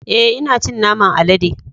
E,ina cin naman alade.